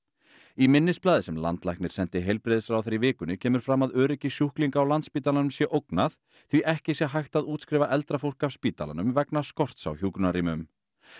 í minnisblaði sem landlæknir sendi heilbrigðisráðherra í vikunni kemur fram að öryggi sjúklinga á Landspítalanum sé ógnað því ekki sé hægt að útskrifa eldra fólk af spítalanum vegna skorts á hjúkrunarrýmum